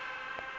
ge a ya go e